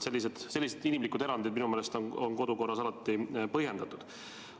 Sellised inimlikud erandid on minu meelest kodukorras alati põhjendatud.